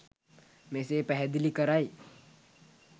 මෙසේ පැහැදිලි කරයි